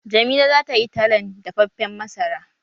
Jamila za tayi talan dafaffen masara?